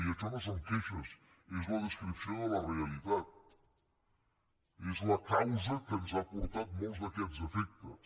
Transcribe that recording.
i això no són queixes és la descripció de la realitat és la causa que ens ha portat molts d’aquests efectes